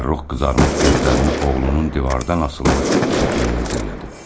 Fərrux qızarmış gözlərini oğlunun divardan asılmış şəklinə zillədi.